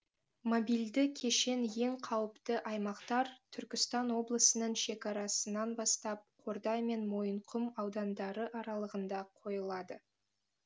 мобильді кешен ең қауіпті аймақтар түркістан облысының шекарасынан бастап қордай мен мойынқұм аудандары аралығында қойылады